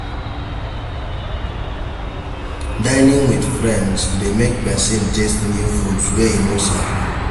Dinning with friends de make persin taste new foods wey e no sabi